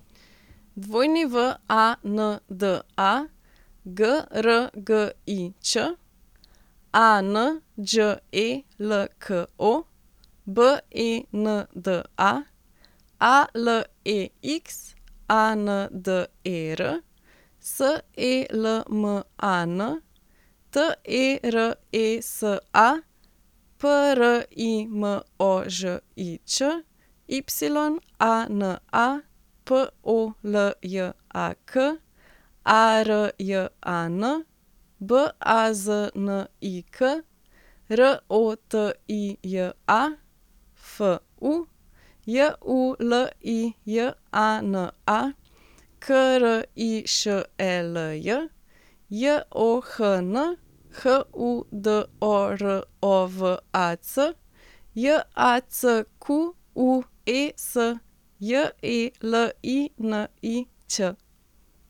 Wanda Grgič, Anđelko Benda, Alexander Selman, Teresa Primožič, Yana Poljak, Arjan Baznik, Rotija Fu, Julijana Krišelj, John Hudorovac, Jacques Jelinić.